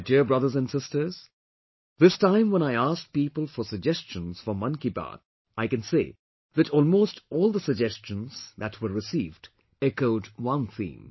My dear brothers and sisters, this time when I asked people for suggestions for 'Mann ki Baat', I can say that almost all the suggestions that were received echoed one theme